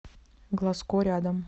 глазко рядом